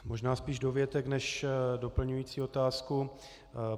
Možná spíš dovětek než doplňující otázku.